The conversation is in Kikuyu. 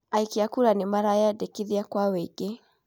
Aikia a kura nĩ mareyandĩkithia kwa ũingĩ?